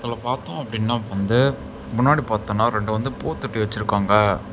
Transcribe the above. இதுல பாத்தோம் அப்படின்னா வந்து முன்னாடி பாத்தோம்னா ரெண்டு வந்து பூத்தொட்டி வெச்சிருக்காங்க.